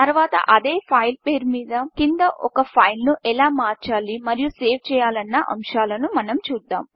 తరువాత అదే ఫైల్ పేరు కింద ఒక ఫైల్ను ఎలా మార్చాలి మరియు సేవ్ చేయాలన్న అంశాలను మనం చూద్దాం